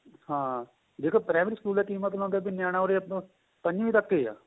ਹਾਂ ਦੇਖੋ primary school ਦਾ ਕੀ ਮਤਲਬ ਵੀ ਨਿਆਣਾ ਉਰੇ ਪੰਜਵੀ ਤੱਕ ਏ ਆਂ